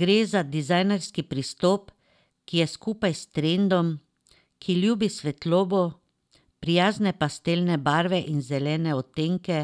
Gre za dizajnerski pristop, ki je skupaj s trendom, ki ljubi svetlobo, prijazne pastelne barve in zelene odtenke,